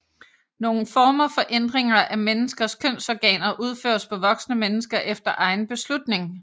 Nogle former for ændringer af menneskers kønsorganer udføres på voksne mennesker efter egen beslutning